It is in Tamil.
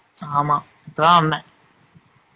ஆமா இப்ப தான் வந்தேன்